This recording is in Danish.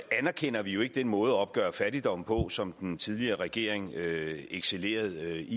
anerkender vi jo ikke den måde at opgøre fattigdom på som den tidligere regering excellerede i